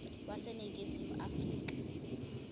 wase ningizimu afrika